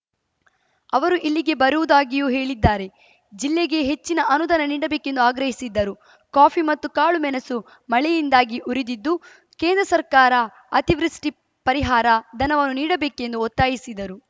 ಅವರು ಇಲ್ಲಿಗೆ ಬರುವುದಾಗಿಯೂ ಹೇಳಿದ್ದಾರೆ ಜಿಲ್ಲೆಗೆ ಹೆಚ್ಚಿನ ಅನುದಾನ ನೀಡಬೇಕೆಂದು ಆಗ್ರಹಿಸಿದ್ದರು ಕಾಫಿ ಮತ್ತು ಕಾಳು ಮೆಣಸು ಮಳೆಯಿಂದಾಗಿ ಉರಿದಿದ್ದು ಕೇಂದ್ರ ಸರ್ಕಾರ ಅತಿವೃಷ್ಟಿಪರಿಹಾರ ಧನವನ್ನು ನೀಡಬೇಕೆಂದು ಒತ್ತಾಯಿಸಿದರು